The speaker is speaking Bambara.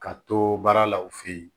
Ka to baara la u fe yen